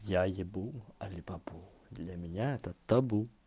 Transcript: я ебу алибабу для меня это табу